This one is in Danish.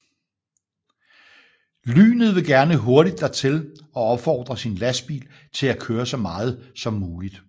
Lynet vil gerne hurtigt dertil og opfordrer sin lastbil til at køre så meget som muligt